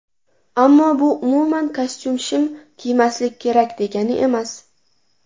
Ammo bu umuman kostyum-shim kiymaslik kerak degani emas.